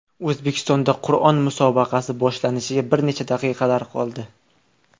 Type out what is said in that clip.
O‘zbekistonda Qur’on musobaqasi boshlanishiga bir necha daqiqalar qoldi .